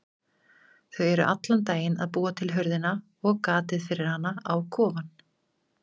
Þau eru allan daginn að búa til hurðina og gatið fyrir hana á kofann.